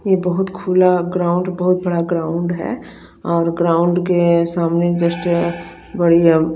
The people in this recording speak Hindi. ये बहुत खुला बहुत बड़ा ग्राउंड है और ग्राउंड के सामने जस्ट --